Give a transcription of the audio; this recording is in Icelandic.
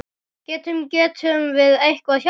Getum, getum við eitthvað hjálpað?